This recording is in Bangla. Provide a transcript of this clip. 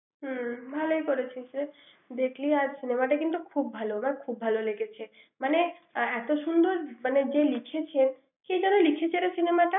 হুম ভালোই করেছিস রে দেখলি আর cinema টা কিন্তু ভালো আমার খুব ভালো লেগেছে মানে এত সুন্দর মানে যে লিখেছে কে যেন লিখেছে cinema টা ৷